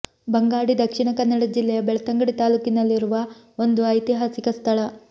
ಬಂಗಾಡಿ ದಕ್ಷಿಣ ಕನ್ನಡ ಜಿಲ್ಲೆಯ ಬೆಳ್ತಂಗಡಿ ತಾಲೂಕಿನಲ್ಲಿರುವ ಒಂದು ಐತಿಹಾಸಿಕ ಸ್ಥಳ